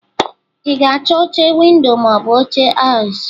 Ị ga-achọ oche ̄windo ma ọ bụ oche aisle?